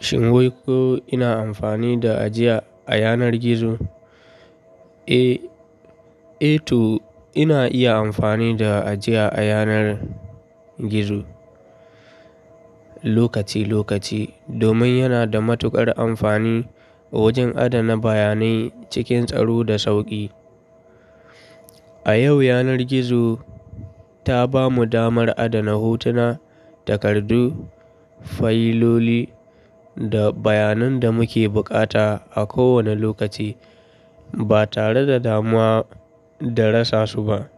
Shin wai ko ina amfani da ajiya a yanar gizo? Eh, eh to ina iya amfani da ajiya a yanar gizo lokaci lokaci domin yana da matuƙar amfani wajen adana bayanai cikin tsaro da sauƙi. A yau yanar gizo ta bamu damar adana hotuna, takardu, fayiloli da bayanan da muke bukata a kowane lokaci ba tare da damuwa da rasa su ba.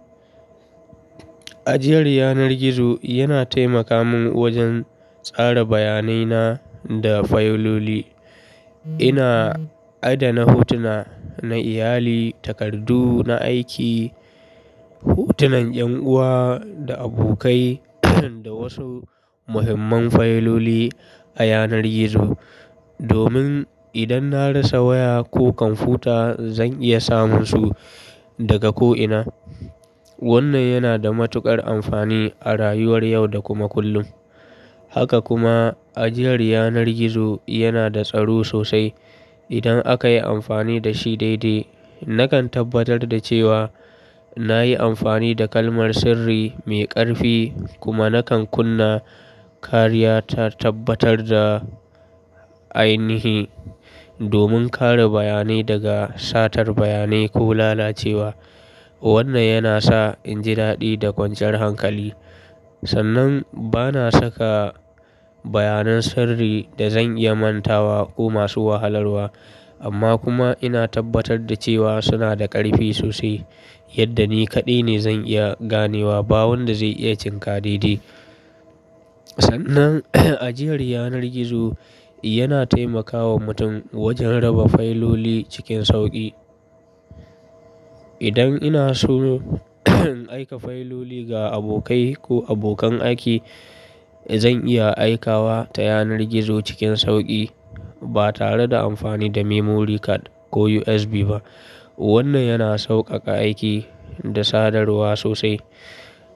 Ajiyar yanar gizo yana taimaka min wajen tsara bayanai na da fayiloli. Ina adana hotuna na iyali, takardu na aiki, hotunan yan uwa da abokai da wasu muhimman fayiloli a yanar gizo, domin idan na rasa waya ko kwamfuta zan iya samun su daga ko'ina. Wannan yana da matuƙar amfani a rayuwar yau da kuma kullum. Haka kuma ajiyar yanar gizo yana da tsaro sosai idan aka yi amfani da shi daidai. Nakan tabbatar da cewa na yi amfani da kalmar sirri mai ƙarfi kuma nakan kunna kariya ta tabbatar da ainihi domin kare bayanai daga satar bayanai ko lalacewa. Wannan yana sa in ji daɗi da kwanciyar hankali. Sannan bana saka bayanai sirri da zan iya manta wa ko masu wahalarwa. Amma kuma ina tabbatar da cewa suna da ƙarfi sosai yadda ni kaɗai ne zan iya ganewa ba wanda zai iya cin ka daidai. Sannan ajiyar yanar gizo yana taimakawa mutum wajen raba fayiloli cikin sauƙi. Idan ina so in aika fayiloli ga abokai ko abokan aiki, zan iya aika wa ta yanar gizo cikin sauƙi ba tare da amfani da memory card ko USB ba. Wannan yana sauƙaƙa aiki da sadarwa sosai.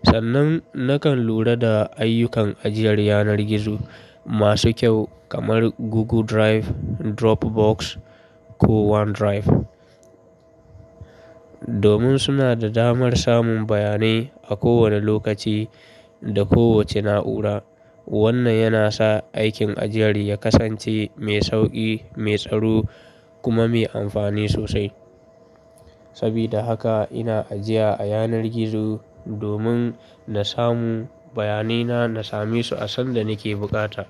Sannan nakan lura da ayyukan ajiyar yanar gizo masu kyau kamar Google Drive, Dropbox ko OneDrive. Domin suna da damar samun bayanai a kowane lokaci da kowace na'ura. Wannan yana sa aikin ajiyar ya kasance mai sauƙi, mai tsaro kuma mai amfani sosai. Sabida haka ina ajiya a yanar gizo domin na samu bayanai na, na same su a sanda nake bukata.